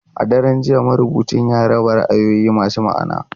A daren jiya, marubucin ya raba ra'ayoyi masu ma'ana.